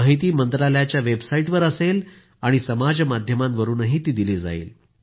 ही माहिती मंत्रालयाच्या वेबसाईटवर असेल आणि समाजमाध्यमांवरूनही दिली जाईल